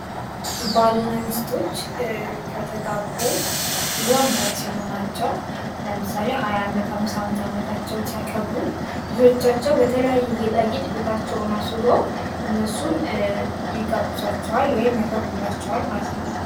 ባልና ሚስቶች ከተጋቡ ብዙ ዓመታት ሲሆናቸው ለምሳሌ ሃያ ዓመት አምሳኛ አመታቸውን ሲያከብሩ ልጆቻቸው በተለያየ ጌጣጌጥ ቤታቸውን እነሱን ይጋብዟቸዋል ወይም ያከብሩላቸዋል ማለት ነው።